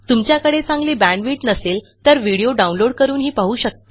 तुमच्याकडे चांगली बॅण्डविड्थ नसेल तर व्हिडीओ download160 करूनही पाहू शकता